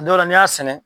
Dɔw la n'i y'a sɛnɛ